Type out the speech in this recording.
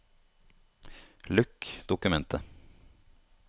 Lukk dokumentet